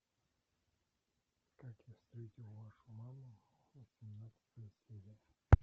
как я встретил вашу маму восемнадцатая серия